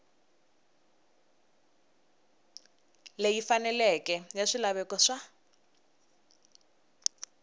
leyi faneleke ya swilaveko swa